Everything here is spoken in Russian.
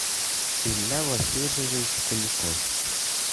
илья васильевич куликов